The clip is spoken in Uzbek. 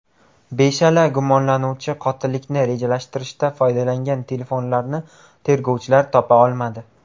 Beshala gumonlanuvchi qotillikni rejalashtirishda foydalangan telefonlarni tergovchilar topa olmadi.